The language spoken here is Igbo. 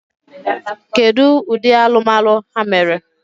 Kedu ụdị alụmalụ ha mere?